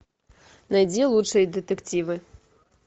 найди лучшие детективы